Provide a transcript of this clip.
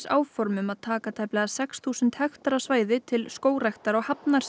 áformað að taka tæplega sex þúsund hektara svæði til skógræktar á